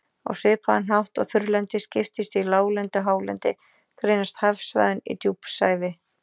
Á svipaðan hátt og þurrlendið skiptist í láglendi og hálendi, greinast hafsvæðin í djúpsævi